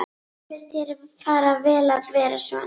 Mér finnst þér fara vel að vera svona.